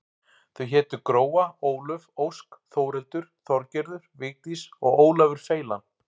Þau hétu Gróa, Álöf, Ósk, Þórhildur, Þorgerður, Vigdís og Ólafur feilan.